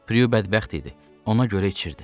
Prue bədbəxt idi, ona görə içirdi.